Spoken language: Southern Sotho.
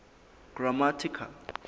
grammatical